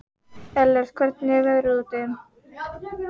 Ellert, hvernig er veðrið úti?